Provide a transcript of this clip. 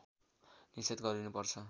निषेध गरिनु पर्छ